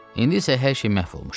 İndi isə hər şey məhv olmuşdu.